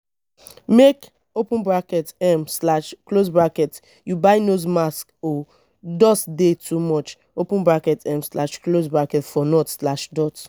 make um you buy nose mask o dust dey too much um for north.